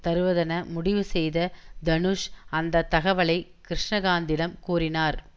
தருவதென முடிவு செய்த தனுஷ் அந்த தகவலை கிருஷ்ணகாந்திடம் கூறினார்